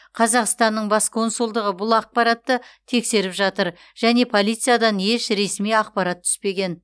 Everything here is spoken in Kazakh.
қазақстанның бас консулдығы бұл ақпаратты тексеріп жатыр және полициядан еш ресми ақпарат түспеген